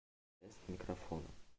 тест микрофона